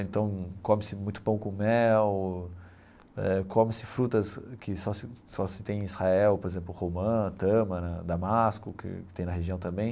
Então come-se muito pão com mel, eh come-se frutas que só se só se tem em Israel, por exemplo, romã, tâmara, damasco, que tem na região também.